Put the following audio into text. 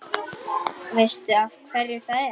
Veistu af hverju það er?